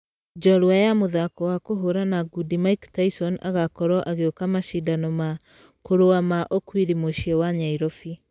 Njorua ya mũthako wa kũhũrana ngundi mike tyson agakorwo agĩũka mashidano ma ....kũrũa ma okwiri mũciĩ wa nyairobi.